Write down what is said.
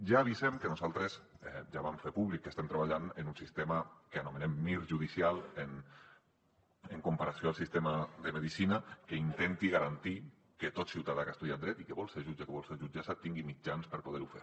ja avisem que nosaltres ja vam fer públic que estem treballant en un sistema que anomenem mir judicial en comparació amb el sistema de medicina que intenti garantir que tot ciutadà que ha estudiat dret i que vol ser jutge o que vol ser jutgessa tingui mitjans per poder ho fer